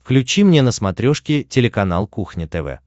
включи мне на смотрешке телеканал кухня тв